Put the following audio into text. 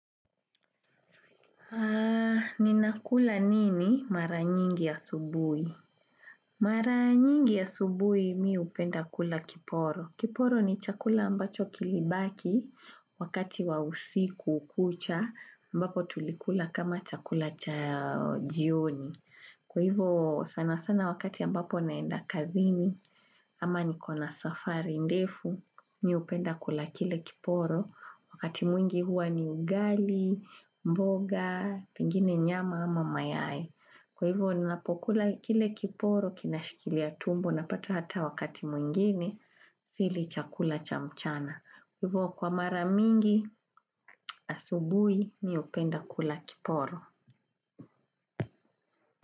Ni nakula nini mara nyingi asubui? Mara nyingi asubui mimi upenda kula kiporo. Kiporo ni chakula ambacho kilibaki wakati wa usiku kucha ambapo tulikula kama chakula cha jioni. Kwa hivyo sana sana wakati ambapo naenda kazini ama nikona safari ndefu mimi upenda kula kile kiporo wakati mwingi huwa ni ugali, mboga, pingine nyama ama mayai Kwa hivyo ninapokula kile kiporo kinashikilia tumbo na pato hata wakati mwingine sili chakula cha mchana. Kwa hivyo kwa mara mingi asubui ni upenda kula kiporo.